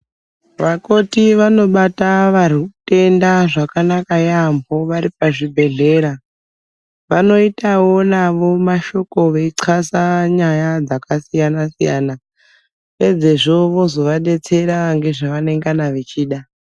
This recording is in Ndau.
Vakoti vanobata vatenda zvakanaka yaamho varipachibhedhlera. Vanoitawo navo mashoko veitxasa nyaya dzakasiyana-siyana pedzezvo vozovadetsera ngezvavanengana vechida.